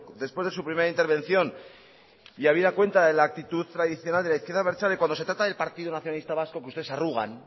después de su primera intervención y habida cuenta de la actitud tradicional de la izquierda abertzale cuando se trata del partido nacionalista vasco que ustedes se arrugan